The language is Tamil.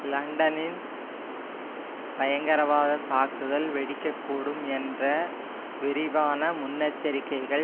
லண்டலின் பயங்கரவாத தாக்குதல் வெடிக்க கூடும் என்ற விரிவான முன்னெச்சரிக்கைகள்